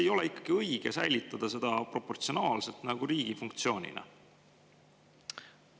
Kas poleks ikkagi õige säilitada seda proportsionaalselt riigi funktsioonina?